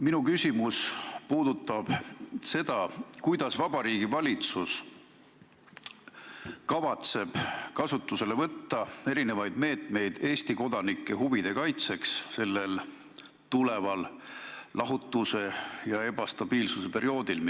Minu küsimus on selle kohta, kuidas Vabariigi Valitsus kavatseb kasutusele võtta meetmeid Eesti kodanike huvide kaitseks eesseisval lahutuse ja ebastabiilsuse perioodil.